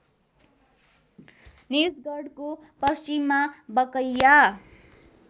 निजगढको पश्चिममा बकैया